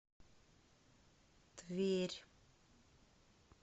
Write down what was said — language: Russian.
тверь